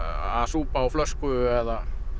að súpa úr flösku eða